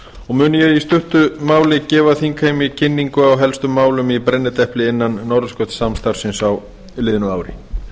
og mun ég í stuttu máli gefa þingheimi kynningu á helstu málum í brennidepli innan norðurskautssamstarfsins á liðnu ári